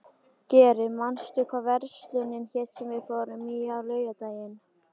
Geri, manstu hvað verslunin hét sem við fórum í á laugardaginn?